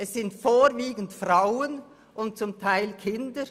Es sind vorwiegend Frauen und zum Teil Kinder.